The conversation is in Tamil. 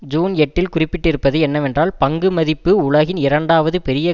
ஜூன் எட்டுஇல் குறிப்பிட்டிருப்பது என்னவென்றால் பங்கு மதிப்பு உலகின் இரண்டாவது பெரிய